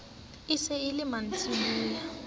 e se e le mantsiboya